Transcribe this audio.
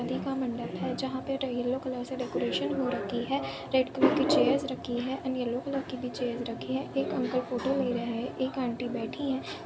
शादी का मंडप है जहां पर येल्लो कलर से डेकोरेशन हो रखी है रेड कलर की चेयर्स रखी है एंड येल्लो कलर्स की भी चेयर्स रखी है एक अंकल फोटो ले रहे है एक आंटी बैठी है।